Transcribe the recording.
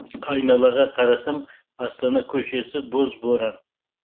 айналаға қарасам астана көшесі боз боран